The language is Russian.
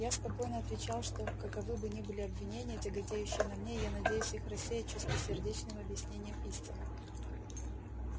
я спокойно отвечал что каковы бы ни были обвинения тяготеющие на мне я надеюсь их рассеять чистосердечным объяснением истины